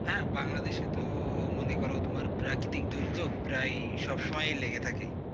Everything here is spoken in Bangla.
হেঁ বাংলাদেশে তো কোনো প্রাকৃতিক দুভিধা প্রায় সব সময় লেগে থাকে.